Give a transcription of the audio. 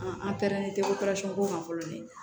An pɛrɛnnen tɛ ko man fɔlɔ ni